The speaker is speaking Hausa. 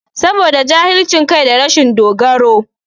Saboda jahilcin kai da rashin dogaro